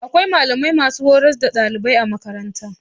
Akwai malami mai hurars da ɗalibai a makaranta